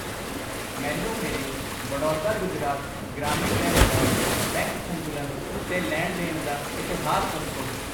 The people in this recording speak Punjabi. ਮੈਨੂੰ ਮੇਰੇ ਬੜੌਦਾ ਗੁਜਰਾਤ ਗ੍ਰਾਮੀਣ ਬੈਂਕ ਦਾ ਬੈਂਕ ਸੰਤੁਲਨ ਤੇ ਲੈਣ ਦੇਣ ਦਾ ਇਤਿਹਾਸ ਦੱਸੋ I